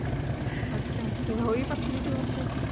ਅੱਛਾ ਤੇ ਹੋਈ ਪਤਲੀ ਤੂੰ ਉੱਥੇ